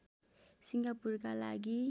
सिङ्गापुरका लागि